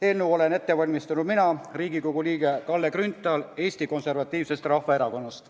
Eelnõu olen ette valmistanud mina, Riigikogu liige Kalle Grünthal Eesti Konservatiivsest Rahvaerakonnast.